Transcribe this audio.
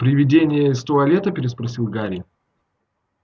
привидение из туалета переспросил гарри